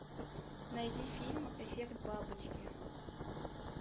найди фильм эффект бабочки